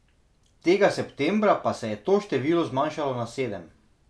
Tega septembra pa se je to število zmanjšalo na sedem.